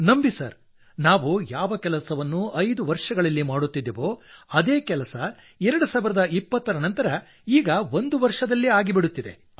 ನಂಬಿ ಸರ್ ನಾವು ಯಾವ ಕೆಲಸವನ್ನು ಐದು ವರ್ಷಗಳಲ್ಲಿ ಮಾಡುತ್ತಿದ್ದೆವೋ ಅದೇ ಕೆಲಸ 2020 ರ ನಂತರ ಈಗ ಒಂದು ವರ್ಷದಲ್ಲೇ ಆಗಿಬಿಡುತ್ತಿದೆ